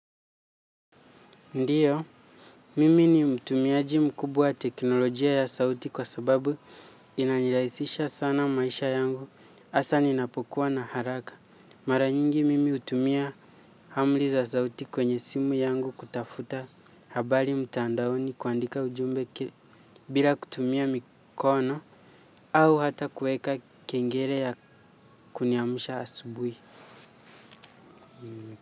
Ndiyo, mimi ni mtumiaji mkubwa wa teknolojia ya sauti kwa sababu inanilaisisha sana maisha yangu, asa ninapokuwa na haraka. Mara nyingi mimi utumia hamli za sauti kwenye simu yangu kutafuta habari mtandaoni kuandika ujumbe bila kutumia mikono au hata kueka kengele ya kuniamusha asubui.